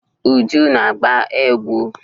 Uju na-agba egwu.